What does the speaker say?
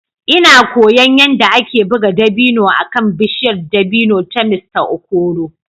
Ina koyon yadda ake buga dabino akan bishiyar dabino ta Mr Okoro.